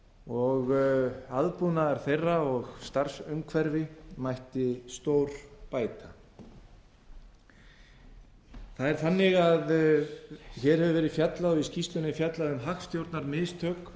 og aðbúnaður þeirra og starfsumhverfi mætti stórbæta það er þannig að hér hefur verið fjallað og í skýrslunni er fjallað um hagstjórnarmistök